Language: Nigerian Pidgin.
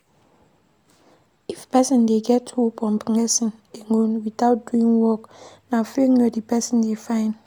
If person dey get hope on blessing alone without doing work, na failure di person dey find